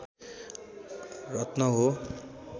रत्न हो